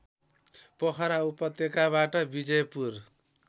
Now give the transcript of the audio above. पोखरा उपत्यकाबाट बिजयपुर